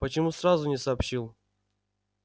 почему сразу не сообщил